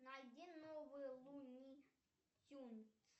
найди новые луни тюнз